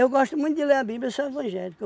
gosto muito de ler a Bíblia, eu sou evangélico.